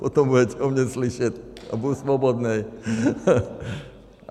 Potom budete o mně slyšet a budu svobodnej.